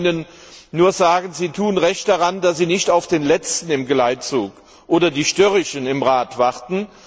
Ich kann Ihnen nur sagen Sie tun recht daran, dass Sie nicht auf den Letzten im Geleitzug oder die Störrischen im Rat warten.